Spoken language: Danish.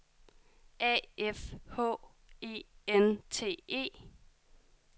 A F H E N T E